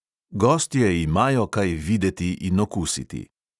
Gostje imajo kaj videti in okusiti.